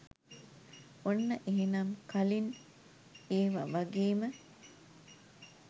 ඔන්න එහෙනම් කලින් ඒව වගේම